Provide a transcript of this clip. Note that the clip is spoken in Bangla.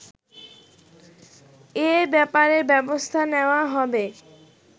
এ ব্যাপারে ব্যবস্থা নেয়া হবে